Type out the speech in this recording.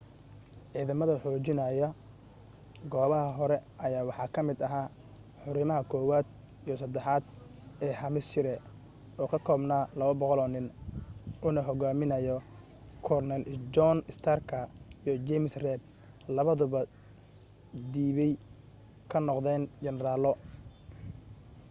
ciidamada xoojinaya goobaha hore ayaa waxa ka mid ahaa hurimaha 1aad iyo 3aad ee hampshire oo ka koobnaa 200 oo nin uuna hogaaminayo korneyl john starka iyo james reed labaduba dibbay ka noqdeen generaalo